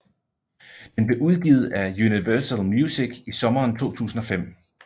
Den blev udgivet af Universal Music i sommeren 2005